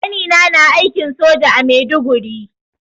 Ƙanina na aikin soja a Maiduguri.